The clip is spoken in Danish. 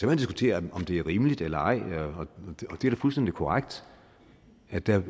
man diskutere om det er rimeligt eller ej det er da fuldstændig korrekt at der